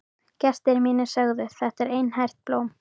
Gestir mínir sögðu: Þetta er einært blóm.